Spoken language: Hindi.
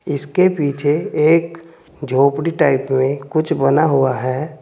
इसके पीछे एक झोपड़ी टाइप में कुछ बना हुआ है।